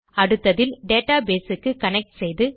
அடுத்ததில் டேட்டாபேஸ் க்கு கனெக்ட் செய்து